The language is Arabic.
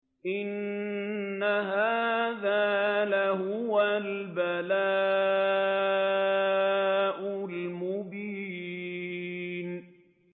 إِنَّ هَٰذَا لَهُوَ الْبَلَاءُ الْمُبِينُ